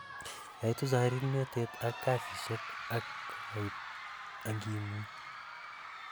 yaitu chorirnotet ak kasisiek, ak kokaikait angimuny